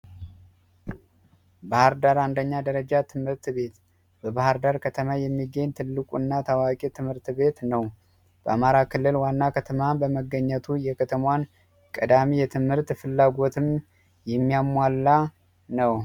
ባህር ዳር አንደኛ ደረጃ ትምህርት ቤት በባህር ዳር ከተማ የሚገኝ ትልቁ እና ታዋቂ ትምህርት ቤት ነው በአማራ ክልል ዋና ከተማም በመገኘቱ የከተሟን ቀዳሚ የትምህርት ፍላጎትም የሚያሟላ ነው።